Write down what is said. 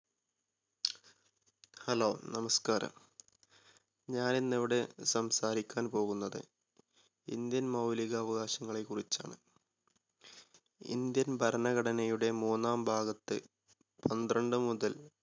hello, നമസ്കാരം. ഞാൻ ഇന്ന് ഇവിടെ സംസാരിക്കാൻ പോകുന്നത് ഇന്ത്യൻ മൗലിക അവകാശങ്ങളെ കുറിച്ചാണ്. ഇന്ത്യൻ ഭരണഘടനയുടെ മൂന്നാം ഭാഗത്ത് പന്ത്രണ്ട് മുതൽ